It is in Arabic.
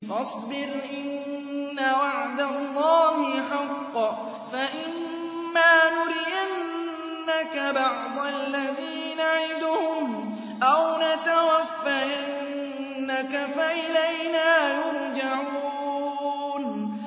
فَاصْبِرْ إِنَّ وَعْدَ اللَّهِ حَقٌّ ۚ فَإِمَّا نُرِيَنَّكَ بَعْضَ الَّذِي نَعِدُهُمْ أَوْ نَتَوَفَّيَنَّكَ فَإِلَيْنَا يُرْجَعُونَ